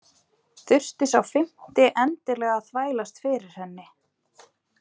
Þurfti sá fimmti endilega að þvælast fyrir henni!